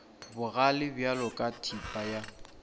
bogale bjalo ka thipa ya